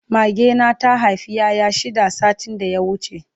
Mage na ta Haifa ƴaƴa shida satin da ya wuce